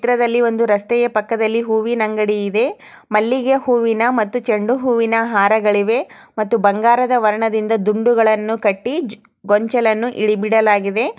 ಈ ಚಿತ್ರದಲ್ಲಿ ರಸ್ತೆಯ ಪಕ್ಕದಲ್ಲಿ ಒಂದು ಹೂವಿನ ಅಂಗಡಿ ಇದೆ. ಮಲ್ಲಿಗೆ ಹೂವಿನ ಮತ್ತು ಚೆಂಡು ಹೂವಿನ ಹಾರಗಳಿವೆ ಮತ್ತು ಬಂಗಾರದ ವರ್ಣದಿಂದ ದುಂಡುಗಳನ್ನು ಕಟ್ಟಿ ಗೊಂಚಲನ್ನು ಇಳಿ ಬಿಡಲಾಗಿದೆ.